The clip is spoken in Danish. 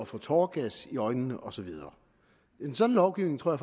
få tåregas i øjnene og så videre en sådan lovgivning tror